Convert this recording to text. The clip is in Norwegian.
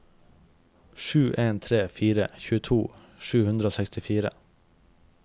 sju en tre fire tjueto sju hundre og sekstifire